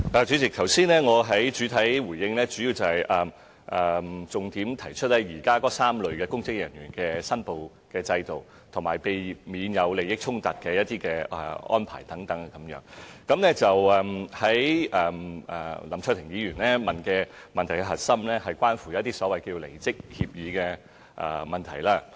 主席，我剛才的主體答覆的重點，是關於現行3類公職人員的申報制度，以及避免利益衝突的安排等，而林卓廷議員提出的質詢的核心，則是關乎所謂離職協議的問題。